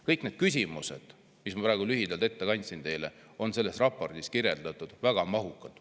Kõik need küsimused, mis ma praegu lühidalt teile ette kandsin, on selles raportis kirjeldatud väga mahukalt.